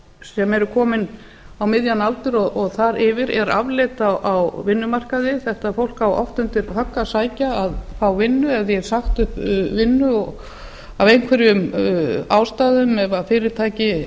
sem eru komnir á miðjan aldur og þar yfir er afleit á vinnumarkaði þetta fólk á oft undir högg að sækja að fá vinnu ef því er sagt upp vinnu af einhverjum ástæðum ef